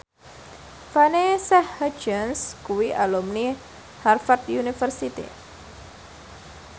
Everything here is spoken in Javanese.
Vanessa Hudgens kuwi alumni Harvard university